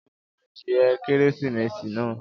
Jẹ ẹran adìẹ Kérésìmesì náà